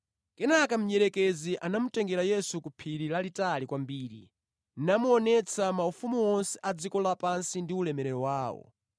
Kenaka mdierekezi anamutengera Yesu ku phiri lalitali kwambiri namuonetsa maufumu onse a dziko lapansi ndi ulemerero wawo.